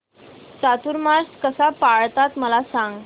चातुर्मास कसा पाळतात मला सांग